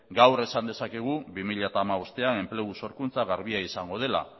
gaur esan dezakegu bi mila hamabostean enplegu sorkuntza garbia izango dela